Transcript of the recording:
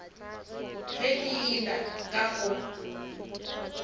ge ke ile ka go